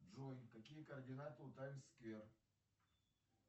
джой какие координаты у тайм сквер